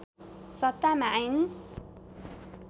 सत्तामा आइन्